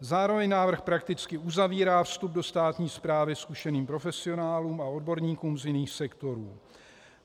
Zároveň návrh prakticky uzavírá vstup do státní správy zkušeným profesionálům a odborníkům z jiných sektorů.